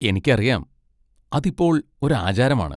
എനിക്കറിയാം, അത് ഇപ്പോൾ ഒരു ആചാരമാണ്.